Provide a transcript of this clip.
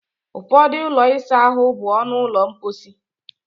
Ụfọdụ ụlọ ịsa ahụ bụ ọnụ ụlọ mposi